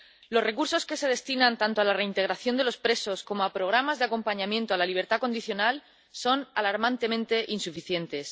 Los recursos que se destinan, tanto a la reintegración de los presos como a programas de acompañamiento a la libertad condicional, son alarmantemente insuficientes.